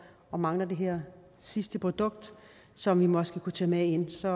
og mangler det her sidste produkt som vi måske kunne tage med ind så